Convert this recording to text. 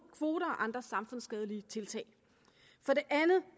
kvoter og andre samfundsskadelige tiltag for det andet